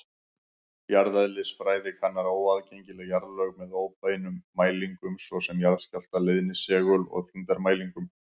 Jarðeðlisfræði kannar óaðgengileg jarðlög með óbeinum mælingum, svo sem jarðskjálfta-, leiðni-, segul- og þyngdarmælingum.